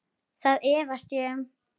Það efast ég um.